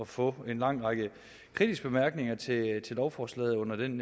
for at få en lang række kritiske bemærkninger til lovforslaget under den